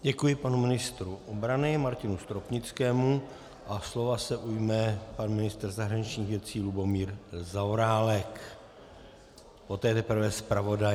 Děkuji panu ministru obrany Martinu Stropnickému a slova se ujme pan ministr zahraničních věcí Lubomír Zaorálek, poté teprve zpravodaj.